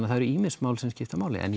það eru ýmis mál sem skipta máli en